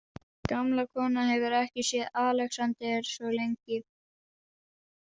Gamla konan hefur ekki séð Alexander svo lengi.